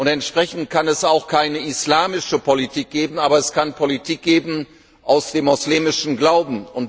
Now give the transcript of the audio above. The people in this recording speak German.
Entsprechend kann es auch keine islamische Politik geben, aber es kann Politik geben aus dem muslimischen Glauben.